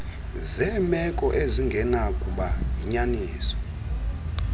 zeemeko ezingenakuba yinyaniso